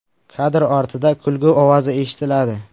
Kadr ortida kulgu ovozi eshitiladi.